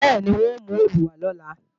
Bẹ́ẹ̀ni, n ó mú òòlù wá lọ̀la